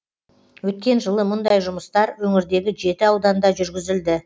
өткен жылы мұндай жұмыстар өңірдегі жеті ауданда жүргізілді